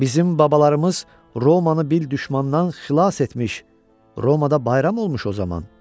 Bizim babalarımız Romanı bir düşmandan xilas etmiş, Romada bayram olmuş o zaman.